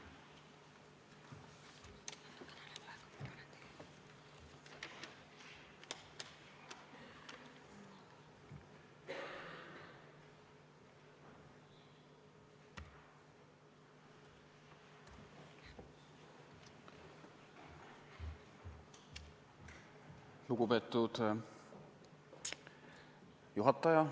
Lugupeetud juhataja!